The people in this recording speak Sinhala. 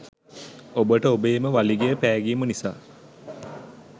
ඔබට ඔබේම වළිගය පෑගීම නිසා